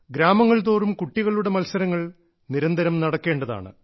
ഗ്രാമങ്ങൾതോറും കുട്ടികളുടെ മത്സരങ്ങൾ നിരന്തരം നടക്കേണ്ടതാണ്